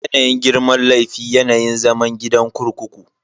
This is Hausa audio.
Yanayin girman laifi, yanayin zaman gidan kurkuku.